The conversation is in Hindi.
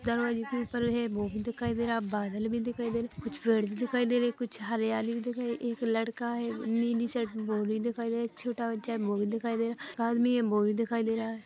दरवाजे के ऊपर है वो भी देखाई दे रहा है बादल भी दिखाई दे रहे कुछ पेड़ भी दिखाई दे रहे कुछ हरियाली भी दिखाई एक लड़का है नीली शर्ट में वो भी दिखाई दे एक छोठा बच्चा है वो भी दिखाई दे रहा क आदमी है वो भी दिखाई दे रहा है।